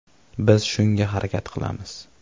Biz shunga harakat qilamiz.